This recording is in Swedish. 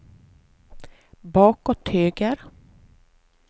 bakåt höger